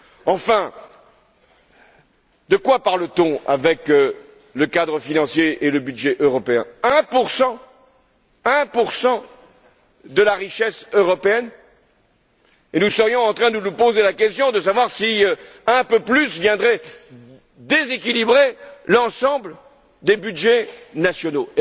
Enfin, de quoi parle t on avec le cadre financier et le budget européen? Un pour cent, un pour cent de la richesse européenne, et nous serions en train de nous poser la question de savoir si un peu plus viendrait déséquilibrer l'ensemble des budgets nationaux?